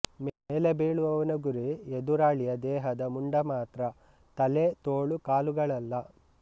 ಮೇಲೆ ಬೀಳುವವನ ಗುರಿ ಎದುರಾಳಿಯ ದೇಹದ ಮುಂಡ ಮಾತ್ರ ತಲೆ ತೋಳು ಕಾಲುಗಳಲ್ಲ